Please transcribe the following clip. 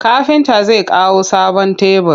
Kafinta zai kawo sabon tebur.